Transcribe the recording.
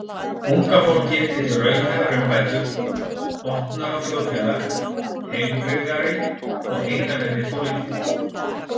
Unga fólkið vill raunhæfar umbætur, opnara þjóðfélag, heilbrigðari og heiðarlegri pólitík.